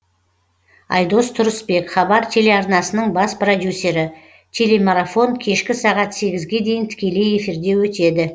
айдос тұрысбек хабар телеарнасының бас продюсері телемарафон кешкі сағат сегізге дейін тікелей эфирде өтеді